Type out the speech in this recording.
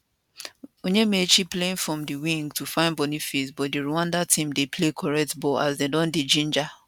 onyemachi playing from di wing to find boniface but di rwanda team dey play correct ball as dem don dey ginger